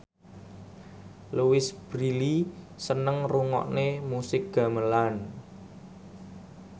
Louise Brealey seneng ngrungokne musik gamelan